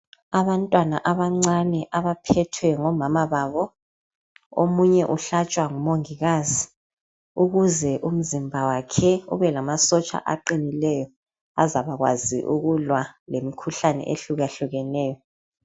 Abantwana abancane abaphethwe ngomama babo, omunye uhlatshwa ngumongikazi ukuze umzimba wakhe ube lamasotsha aqinileyo azabakwazi ukulwa lemikhuhlane ehlukahlukeneyo.